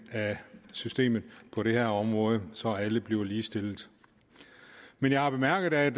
af systemet på det her område så alle bliver ligestillet men jeg har bemærket at